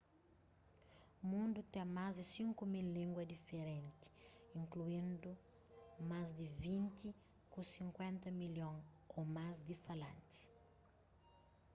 mundu ten más di 5.000 língua diferenti inkluindu más di vinti ku 50 milhon ô más di falantis